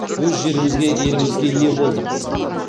өз жерімізге елімізге ие болдық